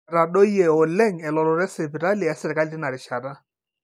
etadoyio oleng elototo esipitali esirkali tinarishata